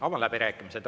Avan läbirääkimised.